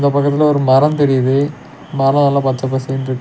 அது பக்கத்துல ஒரு மரோ தெரியிது மரோ எல்லா பச்ச பசேன்னுருக்கு.